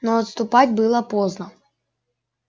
но отступать было поздно